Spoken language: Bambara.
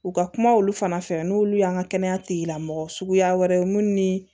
U ka kuma olu fana fɛ n'olu y'an ka kɛnɛya tigilamɔgɔ suguya wɛrɛ mun ni